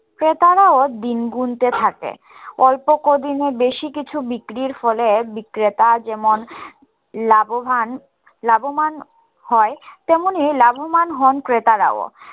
ক্রেতারাও দিন গুনতে থাকে অল্প কদিনে বেশি কিছু বিক্রির ফলে বিক্রেতা যেমন লাভবান লাভমান হয় তেমনি লাভমান হন ক্রেতারাও